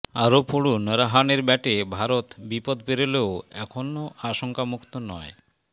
আরও পড়ুন রাহানের ব্যাটে ভারত বিপদ পেরোলেও এখনও আশঙ্কামুক্ত নয়